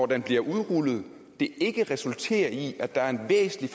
det bliver udrullet ikke resulterer i at der er en væsentlig